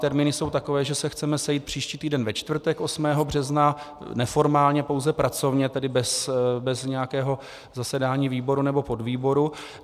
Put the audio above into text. Termíny jsou takové, že se chceme sejít příští týden ve čtvrtek 8. března, neformálně, pouze pracovně, tedy bez nějakého zasedání výboru nebo podvýboru.